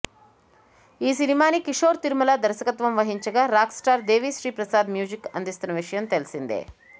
ఈ సినిమాని కిషోర్ తిరుమల దర్శకత్వం వహించగా rock star Devi Sri Prasad music అందిస్తున్న సంగతి తెలిసిందే